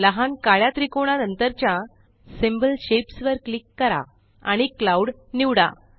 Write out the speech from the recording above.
लहान काळ्या त्रिकोणा नंतरच्या सिम्बॉल शेप्स वर क्लिक करा आणि क्लाउड निवडा